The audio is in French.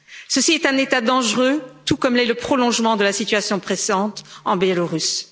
Ceci est un état dangereux tout comme l'est le prolongement de la situation actuelle en Biélorussie.